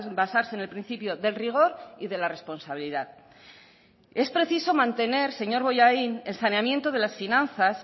basarse en el principio del rigor y de la responsabilidad es preciso mantener señor bollain el saneamiento de las finanzas